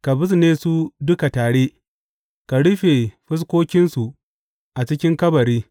Ka bizne su duka tare ka rufe fuskokinsu a cikin kabari.